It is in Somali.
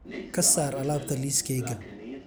ka saar alaabta liiskayga